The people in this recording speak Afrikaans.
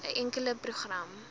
n enkele program